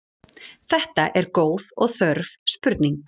Þetta er góð og þörf spurning.